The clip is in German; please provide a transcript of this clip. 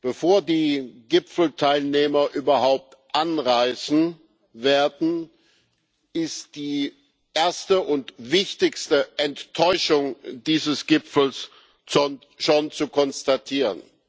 Bevor die Gipfelteilnehmer überhaupt anreisen werden, ist die erste und wichtigste Enttäuschung dieses Gipfels schon zu konstatieren.